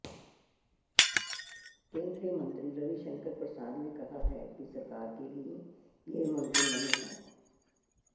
केंद्रीय मंत्री रविशंकर प्रसाद ने कहा है कि सरकार के लिए यह मुमकिन नहीं हैं